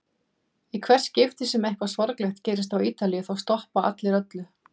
Í hvert skipti sem eitthvað sorglegt gerist á Ítalíu þá stoppa allir öllu.